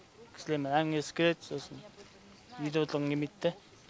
кісілермен әңгімелескім келеді сосын үйде отырғым келмейт та